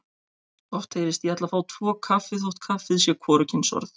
Oft heyrist: Ég ætla að fá tvo kaffi þótt kaffi sé hvorugkynsorð.